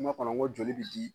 kɔnɔ ko joli bi di